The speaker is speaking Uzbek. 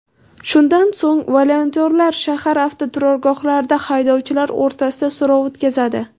Shundan so‘ng, volontyorlar shahar avtoturargohlardagi haydovchilar o‘rtasida so‘rov o‘tkazadi.